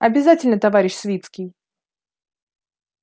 обязательно товарищ свицкий